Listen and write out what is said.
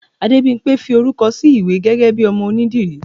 Adébimpé fí orúkọ sí iwe gégé bi ọmọ ẹgbẹ onídìrí